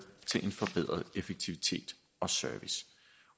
til en forbedret effektivitet og service